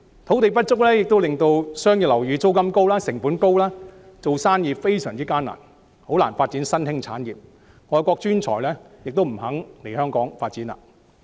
土地不足也導致商業樓宇租金貴、成本高，做生意非常艱難，特別是發展新興產業，而外國專才也不肯來港發展。